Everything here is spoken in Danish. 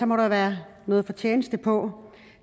må der være noget fortjeneste på